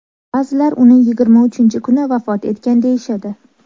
Ba’zilar uni yigirma uchinchi kuni vafot etgan deyishadi.